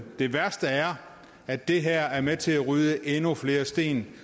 det værste er at det her er med til at rydde endnu flere sten